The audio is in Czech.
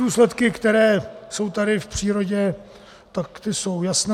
Důsledky, které jsou tady v přírodě, tak ty jsou jasné.